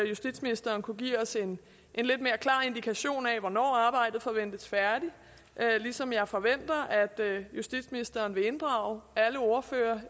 justitsministeren kunne give os en lidt mere klar indikation af hvornår arbejdet forventes færdigt ligesom jeg forventer at justitsministeren vil inddrage alle ordførere